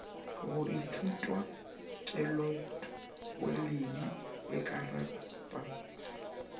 go ithutwa kelotpweledi e akaretpa